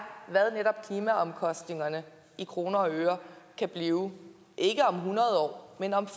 hvad netop klimaomkostningerne i kroner og øre kan blive ikke om hundrede år men om